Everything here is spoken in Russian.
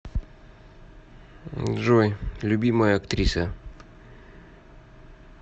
джой любимая актриса